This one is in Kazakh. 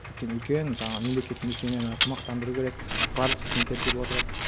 өйткені үлкен жаңағы мемлекеттік мекемені тамақтандыру керек барлық студенттер келіп отырады